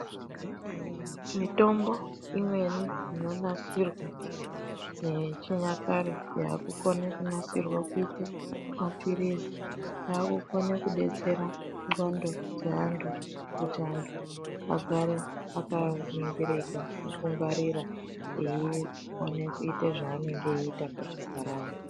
Mitombo imweni ,inonasirwe yechinyakare, yaakukone kunasirwa kuite mapiritsi agone kudetsera ngxondo dzeantu kuti antu vagare vakaningirika nekungwarira kuti egone kuita zvaangeite muntaraunda .